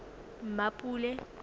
mmapule